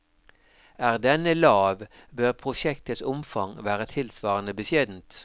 Er denne lav, bør prosjektets omfang være tilsvarende beskjedent.